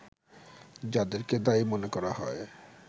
যাদেরকে দায়ী মনে করা হয়